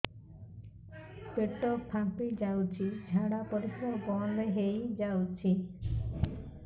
ପେଟ ଫାମ୍ପି ଯାଉଛି ଝାଡା ପରିଶ୍ରା ବନ୍ଦ ହେଇ ଯାଉଛି